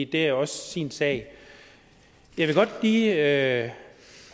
det er jo også sin sag jeg vil godt lige have